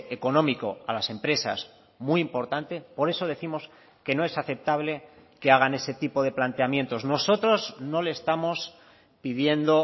económico a las empresas muy importante por eso décimos que no es aceptable que hagan ese tipo de planteamientos nosotros no le estamos pidiendo